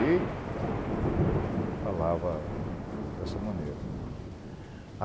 Ele falava dessa maneira.